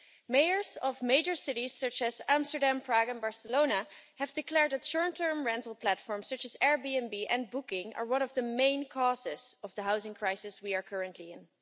Mayors of major cities such as Amsterdam, Prague and Barcelona have declared that short term rental platform such as Airbnb and Booking are one of the main causes of the housing crisis we are currently in.